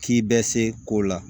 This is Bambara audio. K'i bɛ se ko la